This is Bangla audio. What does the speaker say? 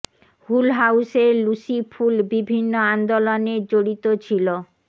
হুল হাউস এর লুসি ফুল বিভিন্ন আন্দোলন জড়িত ছিল